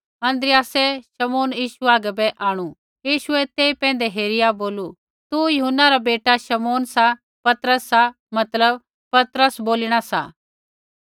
अन्द्रियासै शमौन यीशु हागै बै आंणु यीशुऐ तेई पैंधै हेरिया बोलू तू यूहन्ना रा बेटा शमौन सा पतरस सा मतलब पतरस बोलीणा सा